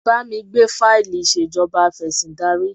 Bá mi gbé fáìlì ìṣèjọba afẹ̀sìndarí.